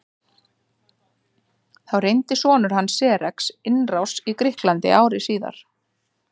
Þá reyndi sonur hans Xerxes innrás í Grikkland ári síðar.